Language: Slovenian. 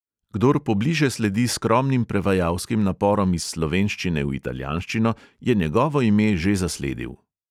Kdor pobliže sledi skromnim prevajalskim naporom iz slovenščine v italijanščino, je njegovo ime že zasledil.